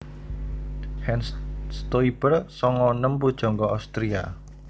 Hans Stoiber sanga enem pujangga Austria